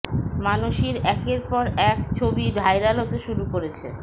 মানষীর একের পর এক ছবি ভাইরাল হতে শুরু করেছে